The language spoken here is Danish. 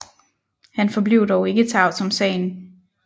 Han forblev dog ikke tavs om sagen